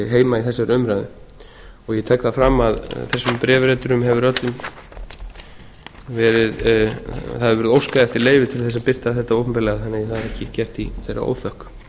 heima í þessari umræðu ég tek það fram að þessum bréfriturum hefur öllum verið það hefur verið óskað eftir leyfi til þess að birta þetta opinberlega þannig að það er ekki gert í þeirra óþökk